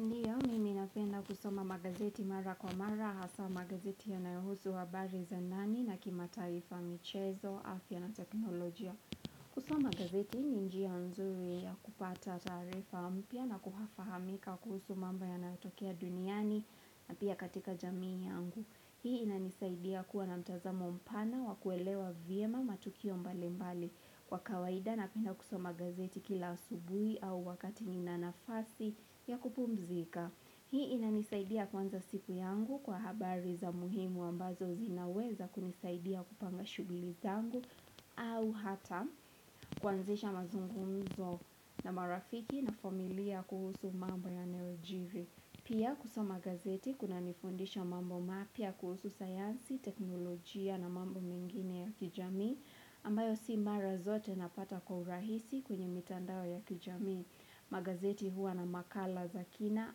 Ndiyo mimi ninapenda kusoma magazeti mara kwa mara, hasa magazeti yanayohusu habari za ndani na kimataifa michezo, afya na teknolojia. Kusoma gazeti ni njia nzuri ya kupata tarifa mpya na kuhafahamika kuhusu mambo yanayotokea duniani na pia katika jamii yangu. Hii inanisaidia kuwa na mtazamo mpana wa kuelewa vyema matukio mbali mbali kwa kawaida na penda kusoma gazeti kila asubuhi au wakati nina nafasi ya kupumzika. Hii inanisaidia kuanza siku yangu kwa habari za muhimu ambazo zinaweza kunisaidia kupanga shughuli zangu au hata kwanzisha mazungumzo na marafiki na familia kuhusu mambo ya nayojiri. Pia kusoma gazeti kuna nifundisha mambo mapya kuhusu sayansi, teknolojia na mambo mingine ya kijami, ambayo si mara zote napata kwa urahisi kwenye mitandao ya kijami. Magazeti huwa na makala zakina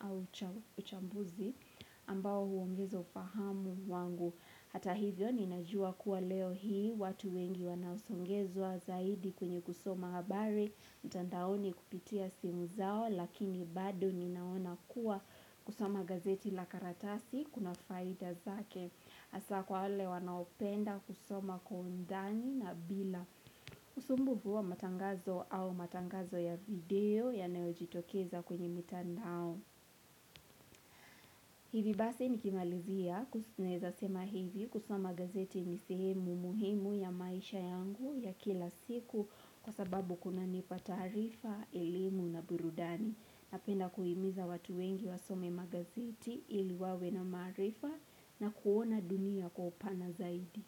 au uchambuzi ambao huongeza ufahamu wangu. Hata hivyo ninajua kuwa leo hii watu wengi wanaosongezwa zaidi kwenye kusoma habari, mitandaoni kupitia simu zao lakini bado ninaona kuwa kusoma gazeti la karatasi kuna faida zake. Asa kwa wale wanaopenda kusoma kwa undani na bila usumbu wa matangazo au matangazo ya video ya neojitokeza kwenye mtandao. Hivi basi nikimalizia na eza sema hivi kusoma gazeti nisehemu muhimu ya maisha yangu ya kila siku kwa sababu kuna nipa tarifa, elemu na burudani. Napenda kuhimiza watu wengi wasome magazeti iliwawe na marifa na kuona dunia kwa upana zaidi.